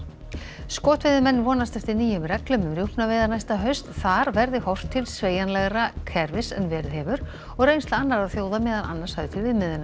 skotveiðimenn vonast eftir nýjum reglum um rjúpnaveiðar næsta haust þar verði horft til sveigjanlegra kerfis en verið hefur og reynsla annarra þjóða meðal annars höfð til viðmiðunar